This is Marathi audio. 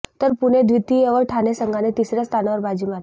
तर पुणे द्वितीय व ठाणे संघाने तिसऱ्या स्थानावर बाजी मारली